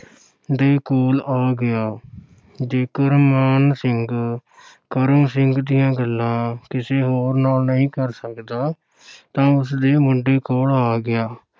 ਦੇ ਕੋਲ ਆ ਗਿਆ ਜੇਕਰ ਮਾਨ ਸਿੰਘ ਕਰਮ ਸਿੰਘ ਦੀਆਂ ਗੱਲਾਂ ਕਿਸੇ ਹੋਰ ਨਾਲ ਨਹੀਂ ਕਰ ਸਕਦਾ ਤਾਂ ਉਸਦੇ ਮੁੰਡੇ ਕੋਲ ਆ ਗਿਆ,